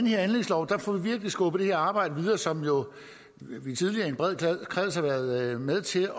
her anlægslov får vi virkelig skubbet det arbejde som vi tidligere i en bred kreds har været med til